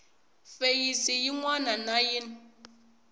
feyisi yin wana na yin